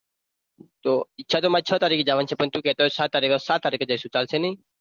તો ઈચ્છા તો મારી છ તારીખે જવાની છે પણ તું કહેતો હોય તો સાત તારીખે સાત તારીખે જઈશુ ચાલશે નહીં.